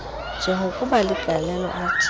njengokuba ligalelo athe